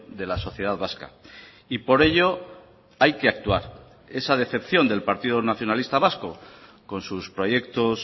de la sociedad vasca y por ello hay que actuar esa decepción del partido nacionalista vasco con sus proyectos